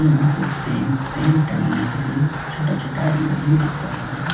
यहां पे fan fan टांगने के लिए छोटा छोटा एंगल भी दिख रहा है।